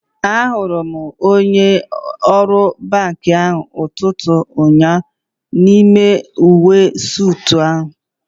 Ahụrụ m onye ọrụ banki ahụ n'ụtụtụ ụnyaahụ n'ime uwe soot ya